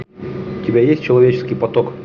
у тебя есть человеческий поток